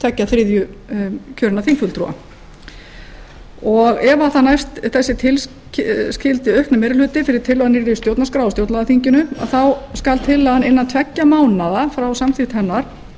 tveggja þriðju kjörinna þingfulltrúa ef næst þessi tilskildi aukni meiri hluti fyrir tillögu að nýrri stjórnarskrá á stjórnlagaþinginu þá skal tillagan innan tveggja mánaða frá samþykkt hennar